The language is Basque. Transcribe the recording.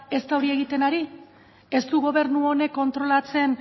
ez da hori egiten ari ez du gobernu honek kontrolatzen